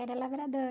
Era lavrador.